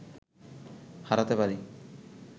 হারাতে পারি